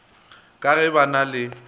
ka ge ba na le